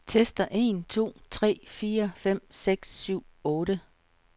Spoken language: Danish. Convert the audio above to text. Tester en to tre fire fem seks syv otte.